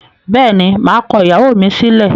Bẹ́ẹ̀ni, maa kọ ìyàwó mi sílẹ̀.